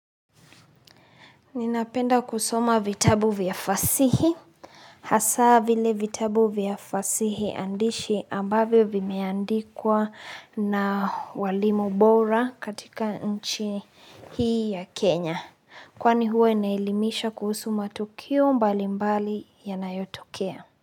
Ninapenda kusoma vitabu vya fasihi. Hasa vile vitabu vya fasihi andishi ambavyo vimeandikwa na walimu bora katika nchi hii ya Kenya. Kwani huwa inaelimisha kuhusu matukio mbalimbali yanayotokea.